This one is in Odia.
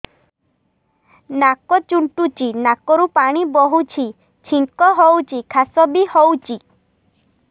ନାକ ଚୁଣ୍ଟୁଚି ନାକରୁ ପାଣି ବହୁଛି ଛିଙ୍କ ହଉଚି ଖାସ ବି ହଉଚି